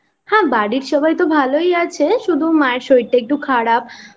হ্যাঁ বাড়ির সবাই তো ভালোই আছে শুধু মায়ের শরীরটা একটু খারাপ